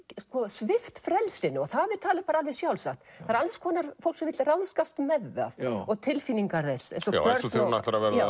svipt frelsinu og það er talið alveg sjálfsagt það er alls konar fólk sem vill ráðskast með það og tilfinningar þess eins og þegar hún